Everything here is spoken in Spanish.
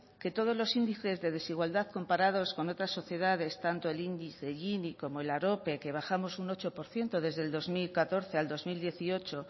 que todos los índices de desigualdad comparados con otras sociedades tanto el índice gini como el arope que bajamos un ocho por ciento desde el dos mil catorce al dos mil dieciocho